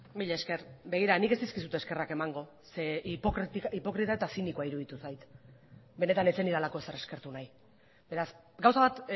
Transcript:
mila esker begira nik ez dizkizut eskerrak emango zeren eta hipokrita eta zinikoa iruditu zait benetan ez zenidalako ezer eskertu nahi beraz gauza bat